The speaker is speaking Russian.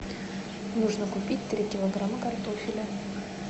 нужно купить три килограмма картофеля